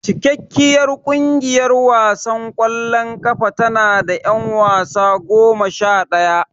Cikakkiyar kungiyar wasan kwallon kafa tanada yan wasa goma shadaya.